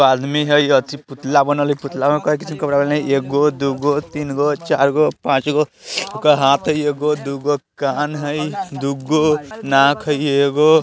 आदमी हई अथी पुतला बनल हई पुतला में एगो दुगो तीनगो चरगो पाचगो ओकर हाथ हई एगो दुगो कान है दुगो नाक हई एगो।